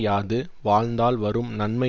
யாது வாழ்ந்தால் வரும் நன்மை